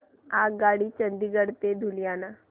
आगगाडी चंदिगड ते लुधियाना